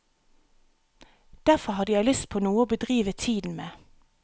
Derfor hadde jeg lyst på noe å bedrive tiden med.